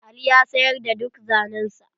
Ali ya sayar da duk zanen sa.